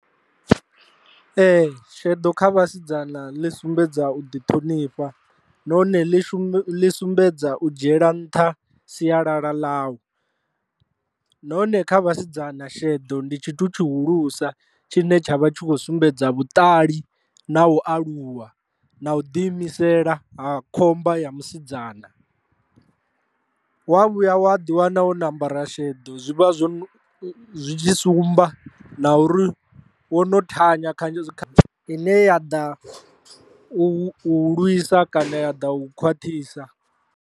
Ee, sheḓo kha vhasidzana ḽi sumbedza u ḓi ṱhonifha nahone ḽi shume ḽi sumbedza u dzhiela nṱha sialala ḽau, nahone kha vhasidzana sheḓo ndi tshithu tshihulusa tshine tsha vha tshi kho sumbedza vhuṱali na u aluwa na u ḓi imisela ha khomba ya musidzana. Wa vhuya wa ḓi wana u na ambara sheḓo zwi vha zwo zwi tshi sumba na uri wo no thanya kha ine ya ḓa u lwisa kana ya ḓa u khwaṱhisa.